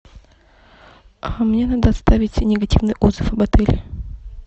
мне надо оставить негативный отзыв об отеле